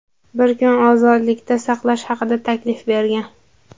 bir kun ozodlikda saqlash haqida taklif bergan.